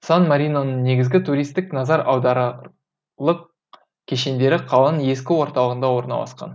сан мариноның негізгі туристтік назар аударарлық кешендері қаланың ескі орталығында орналасқан